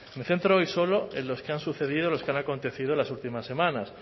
me centro hoy solo en los que han sucedido en los que han acontecido en las últimas semanas